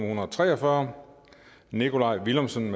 hundrede og tre og fyrre nikolaj villumsen